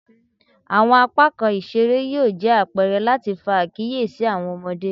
Awọn apakan isere yoo jẹ apẹrẹ lati fa akiyesi awọn ọmọde